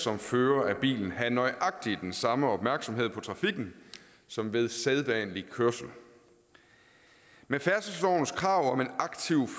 som fører af bilen have nøjagtig den samme opmærksomhed på trafikken som ved sædvanlig kørsel med færdselslovens krav om en aktiv